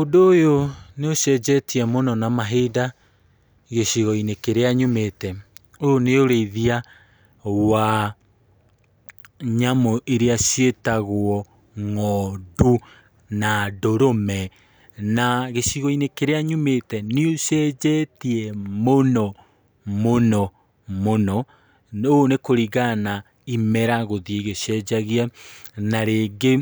Ũndũ ũyũ nĩ ũcenjetie mũno na mahinda gĩcigo-inĩ kĩrĩa nyumĩte, ũyũ nĩ ũrĩithia wa nyamũ iria ciĩtagwo ng´ondu na ndũrũme, na gĩcigo-inĩ kĩrĩa nyumĩte nĩ ũcenjetie mũno mũno mũno , ũũ nĩ kũrigana imera gũthiĩ igĩcenjagia , na rĩngĩ